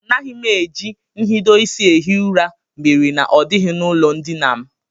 Anaghị m eji nhidoisi ehi ụra mere na ọ dịghị n'ụlọndina m